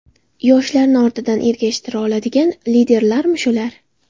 Yoshlarni ortidan ergashtira oladigan liderlarmi shular?